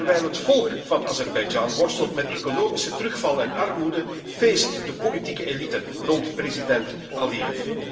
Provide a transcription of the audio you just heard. Want terwijl het volk van Azerbeidzjan worstelt met economische terugval en armoede, feest de politieke elite rond president Aliyev.